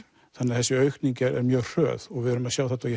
þannig að þessi aukning er mjög hröð við erum að sjá þetta og